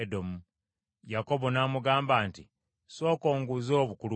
Yakobo n’amuddamu nti, “Sooka onguze obukulu bwo.”